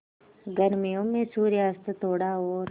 गर्मियों में सूर्यास्त थोड़ा और